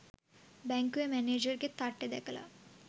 බැංකුවෙ මැනේජර්ගෙ තට්ටෙ දැකලා